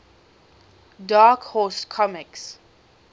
dark horse comics